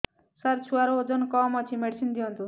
ସାର ଛୁଆର ଓଜନ କମ ଅଛି ମେଡିସିନ ଦିଅନ୍ତୁ